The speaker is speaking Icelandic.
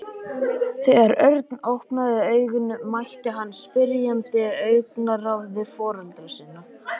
Þegar Örn opnaði augun mætti hann spyrjandi augnaráði foreldra sinna.